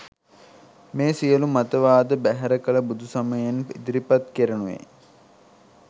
මේ සියලු මතවාද බැහැර කළ බුදුසමයෙන් ඉදිරිපත් කෙරෙනුයේ